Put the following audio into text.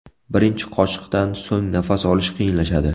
Birinchi qoshiqdan so‘ng nafas olish qiyinlashadi.